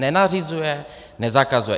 Nenařizuje, nezakazuje.